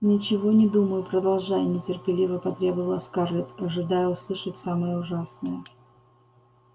ничего не думаю продолжай нетерпеливо потребовала скарлетт ожидая услышать самое ужасное